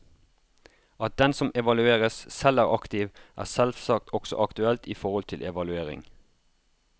At den som evalueres, selv er aktiv, er selvsagt også aktuelt i forhold til evaluering.